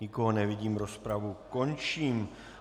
Nikoho nevidím, rozpravu končím.